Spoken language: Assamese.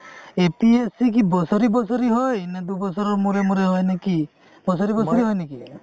APSC কি বছৰি বছৰি হয় নে দুবছৰ মুৰে মুৰে হয় নে কি বছৰি বছৰি হয় নেকি?